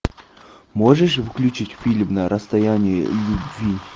можешь включить фильм на расстоянии любви